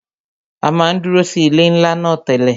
À máa ń dúró sí ilé ńlá náà tẹ́lẹ̀